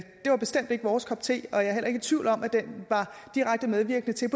det var bestemt ikke vores kop te jeg er heller ikke i tvivl om at det var direkte medvirkende til at